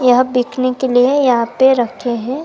Bakanae के लिए यहां पे रखे है।